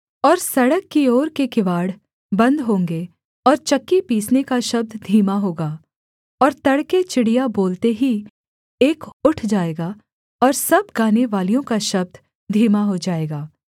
और सड़क की ओर के किवाड़ बन्द होंगे और चक्की पीसने का शब्द धीमा होगा और तड़के चिड़िया बोलते ही एक उठ जाएगा और सब गानेवालियों का शब्द धीमा हो जाएगा